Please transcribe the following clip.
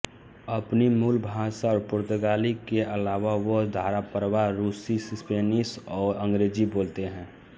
अपनी मूल भाषा और पुर्तगाली के अलावा वह धाराप्रवाह रूसी स्पेनिश और अंग्रेजी बोलते हैं